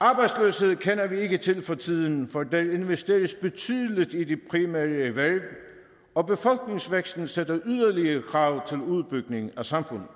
arbejdsløshed kender vi ikke til for tiden for der investeres betydeligt i de primære erhverv og befolkningsvæksten stiller yderligere krav til udbygning af samfundet